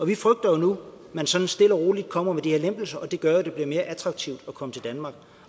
vi frygter nu at man sådan stille og roligt kommer med de her lempelser og det gør jo at det bliver mere attraktivt at komme til danmark